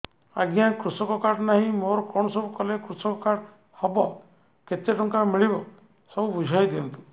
ଆଜ୍ଞା କୃଷକ କାର୍ଡ ନାହିଁ ମୋର କଣ ସବୁ କଲେ କୃଷକ କାର୍ଡ ହବ କେତେ ଟଙ୍କା ମିଳିବ ସବୁ ବୁଝାଇଦିଅନ୍ତୁ